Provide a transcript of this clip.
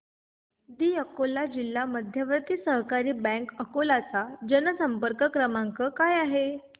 दि अकोला जिल्हा मध्यवर्ती सहकारी बँक अकोला चा जनसंपर्क क्रमांक काय आहे